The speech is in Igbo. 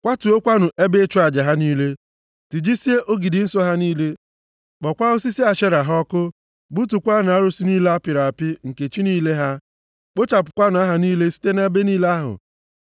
Kwatuokwanụ ebe ịchụ aja ha niile, tijisie ogidi nsọ ha niile, kpọọkwa osisi Ashera ha ọkụ, gbutukwaanụ arụsị niile a apịrị apị nke chi niile ha. Kpochapụkwanụ aha ha niile site nʼebe niile ahụ.